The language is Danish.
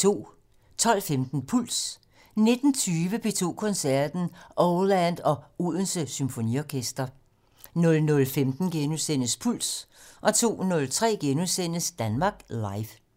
12:15: Puls 19:20: P2 Koncerten - Oh Land og Odense Symfoniorkester 00:15: Puls * 02:03: Danmark Live *